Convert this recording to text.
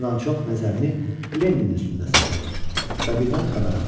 Hamıdan çox nəzərini Leninin üstündə saxladı və birdən xəbər aldı.